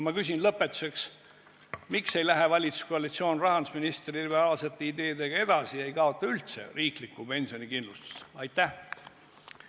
Ma küsin lõpetuseks: miks ei lähe valitsuskoalitsioon rahandusministri liberaalsete ideedega edasi ega kaota üldse riiklikku pensionikindlustust?